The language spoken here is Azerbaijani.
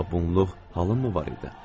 Amma bunluq halım mı var idi?